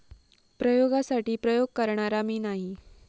प्रयोगासाठी प्रयोग करणारा मी नाही!